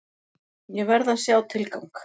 Ég verð að sjá tilgang!